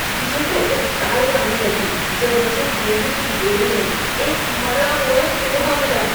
मुझे तो उबकाई आने लगी जब मुझे गेहूँ की बोरी में एक मरा हुआ चूहा मिला।